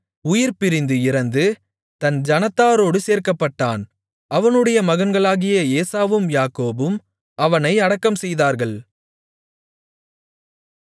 உயிர்பிரிந்து இறந்து தன் ஜனத்தாரோடு சேர்க்கப்பட்டான் அவனுடைய மகன்களாகிய ஏசாவும் யாக்கோபும் அவனை அடக்கம்செய்தார்கள்